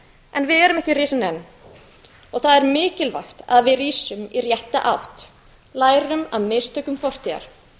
en við erum ekki risin enn og það er mikilvægt að við rísum í rétta átt lærum af mistökum fortíðar